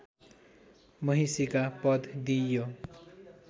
महिषीका पद दिइयो